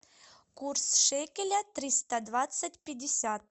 курс шекеля триста двадцать пятьдесят